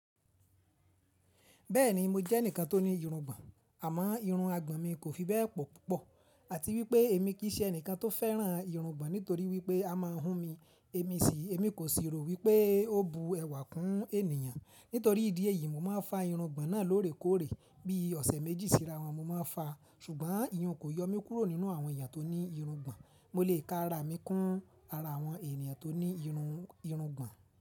Bẹ́ẹ̀ni mo jẹ́ ẹnìkan tó ní irungbọn àmọ́ irun àgbọ̀n mi kò fi bẹ́ẹ̀ pọ̀ púpọ̀ àti wípé èmi kì í ṣe ẹnìkan tó fẹ́ràn irungbọn nítorí wípé a máa ń hún mi. Èmi sì, èmi kò sì rò wípé ó bu ẹwà kún ènìyàn. Nítorí ìdí èyí mo máa ń fa irungbọn náà lóòrèkóòrè. Bí i ọ̀sẹ̀ méjì síra wọn mo máa ń fa. Ṣùgbọ́n ìyàn kò yọ mí kúrò nínú àwọn èyàn tó ní irungbọn. Mo lè ka ara mi kún ara àwọn ènìyàn tó ní irun, irungbọn.